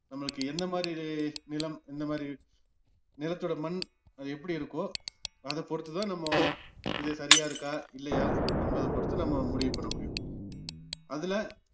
நம்மளுக்கு என்னமாதிரி ரே~ நிலம் என்னமாதிரி நிலத்தோட மண் அது எப்படி இருக்கோ அதை பொருத்துதான் நம்ம இது சரியா இருக்கா இல்லையா என்பத பொருத்து நம்ப முடிவு பண்ண முடியும் அதுல